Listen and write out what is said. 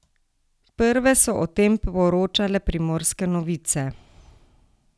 Prve so o tem poročale Primorske novice.